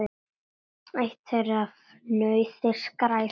Eitt þeirra er fnauði: skræfa.